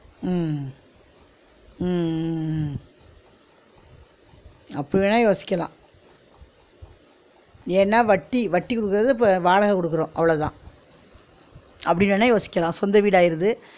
உம் உம் உம் உம் அப்டி வேணா யோசிக்கலா ஏன்னா வட்டி வட்டி குடுக்கிறது இப்ப வாடகை குடுக்குறோ அவ்ளோதான் அப்டி வேணா யோசிக்கலா சொந்த வீடாயிருது